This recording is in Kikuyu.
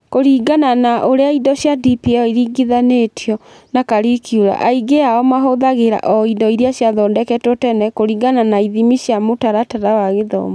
Kũringana na ũrĩa indo cia DPL iringithanĩtio na curricula, aingĩ ao mahũthagĩra o indo iria ciathondeketwo tene kũringana na ithimi cia mũtaratara wa gĩthomo.